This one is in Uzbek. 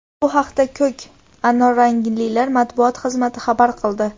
Bu haqida "ko‘k-anorranglilar" matbuot xizmati xabar qildi.